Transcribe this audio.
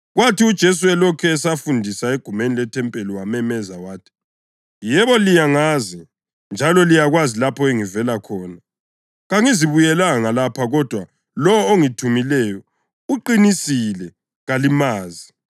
Kwathi uJesu elokhu esafundisa egumeni lethempeli, wamemeza wathi, “Yebo, liyangazi njalo liyakwazi lapho engivela khona. Kangizibuyelanga lapha kodwa lowo ongithumileyo uqinisile. Kalimazi